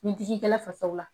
Ni digi kɛla fasaw la